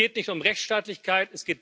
Es geht nicht um Rechtsstaatlichkeit.